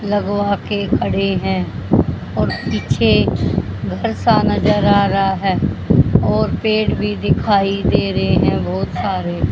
लगवा के खड़े हैं और पीछे घर सा नजर आ रहा है और पेड़ भी दिखाई दे रहे हैं बहोत सारे।